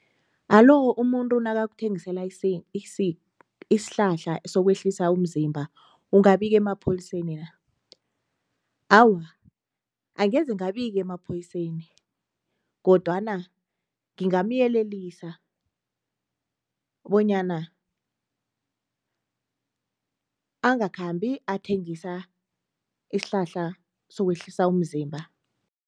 Alo, umuntu nakakuthengisela ishlahla sokwehlisa umzimba ungabika emapholiseni na? Awa, angeze ngabika emaphoyiseni kodwana ngingamyelelisa bonyana angakhambi athengisa isihlahla sokwehlisa umzimba.